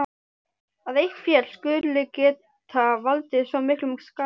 Að eitt fjall skuli geta valdið svo miklum skaða